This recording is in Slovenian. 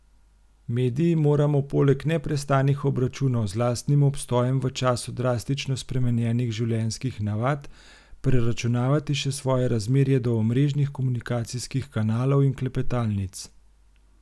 Mediji moramo poleg neprestanih obračunov z lastnim obstojem v času drastično spremenjenih življenjskih navad preračunavati še svoje razmerje do omrežnih komunikacijskih kanalov in klepetalnic.